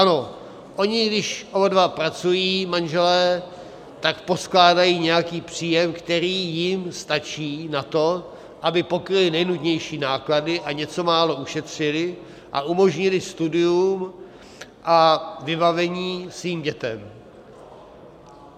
Ano, oni když oba dva pracují manželé, tak poskládají nějaký příjem, který jim stačí na to, aby pokryli nejnutnější náklady a něco málo ušetřili a umožnili studium a vybavení svým dětem.